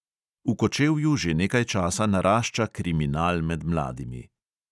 V kočevju že nekaj časa narašča kriminal med mladimi.